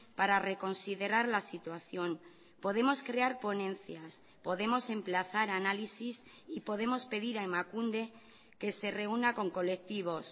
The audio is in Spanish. para reconsiderar la situación podemos crear ponencias podemos emplazar análisis y podemos pedir a emakunde que se reúna con colectivos